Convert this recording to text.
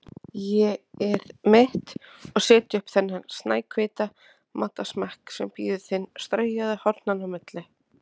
ÉG-ið mitt, og setja upp þennan snæhvíta matarsmekk sem bíður þín straujaður hornanna á milli.